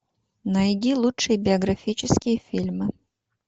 найди лучшие биографические фильмы